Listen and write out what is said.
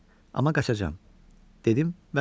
Amma qaçacam dedim vəssalam.